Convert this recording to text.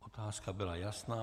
Otázka byla jasná.